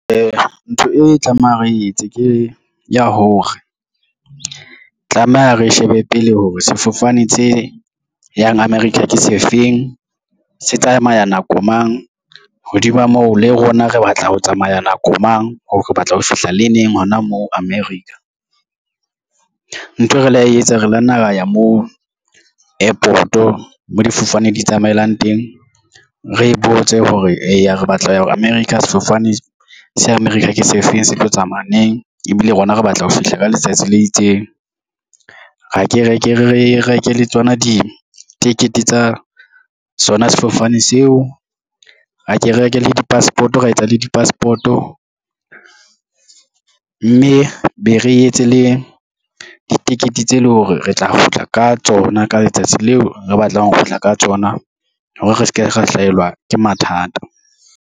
Ntho e tlameha re etse ke ya hore, tlameha re shebe pele hore sefofane tse yang America ke se feng, se tsamaya nako mang, hodima moo le rona re batla ho tsamaya nako mang, hore re batla ho fihla le neng hona moo America. Nthwe re la etsa re la nna ra ya moo airport-o mo difofane di tsamaelang teng re botse hore, eya re batla ho ya America, sefofane se America ke se feng, se tlo tsamaya neng ebile rona re batla ho fihla ka letsatsi le itseng. Re ke re reke le tsona ditikete tsa sona sefofane seo, ra ke reke le di-passport, ra etsa le di-passport-o, mme be re etse le ditekete tse leng hore re tla kgutla ka tsona ka letsatsi leo re batlang ho kgutla ka tsona hore re se ke ra hlaelwa ke mathata.